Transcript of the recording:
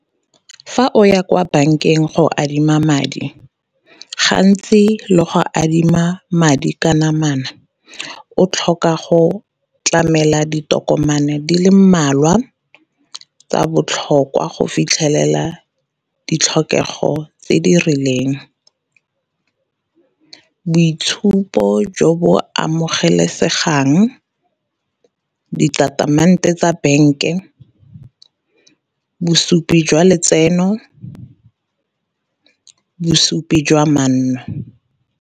Fa o ya kwa bankeng go adima madi gantsi le go adima madi ka namana, o tlhoka go tlamela ditokomane di le mmalwa tsa botlhokwa go fitlhelela ditlhokego tse di rileng. Boitshupo jo bo amogelesegang, ditatamente tsa bank-e, bosupi jwa letseno, bosupi jwa manno.